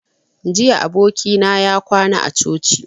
Jiya abokina ya kwana a coci